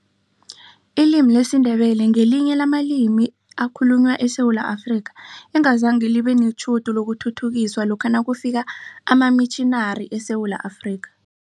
Ilimi lesiNdebele ngelinye lamalimi ekhalunywa eSewula Afrika, engazange libe netjhudu lokuthuthukiswa lokha nakufika amamitjhinari eSewula Afrika.